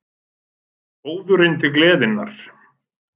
ÓÐURINN TIL GLEÐINNAR